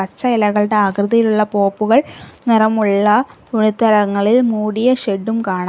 പച്ച ഇലകളുടെ ആകൃതിയിലുള്ള പോപ്പുകൾ നിറമുള്ള തുണിത്തരങ്ങളിൽ മൂടിയ ഷെഡും കാണാം.